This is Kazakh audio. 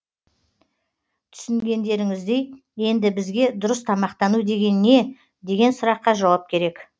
түсінгендерініздей енді бізге дұрыс тамақтану деген не деген сұраққа жауап керек